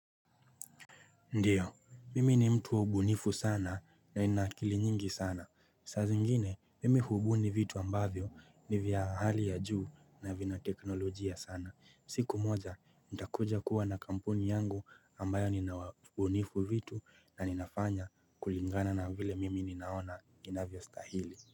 Ndiyo, mimi ni mtu wa ubunifu sana na nina akili nyingi sana. Saa zingine mimi hubuni vitu ambavyo ni vya hali ya juu na vina teknolojia sana. Siku moja, nitakuja kuwa na kampuni yangu ambayo ninawabunifu vitu na ninafanya kulingana na vile mimi ninaona inavyostahili.